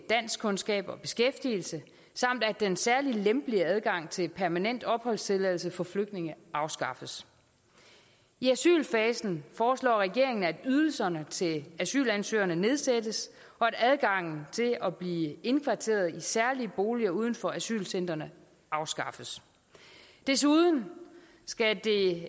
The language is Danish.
danskkundskaber og beskæftigelse samt at den særligt lempelige adgang til permanent opholdstilladelse for flygtninge afskaffes i asylfasen foreslår regeringen at ydelserne til asylansøgerne nedsættes og at adgangen til at blive indkvarteret i særlige boliger uden for asylcentrene afskaffes desuden skal det